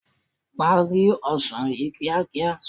Parí ọsàn yìí kíákíá.